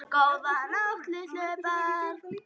Góða nótt litlu börn.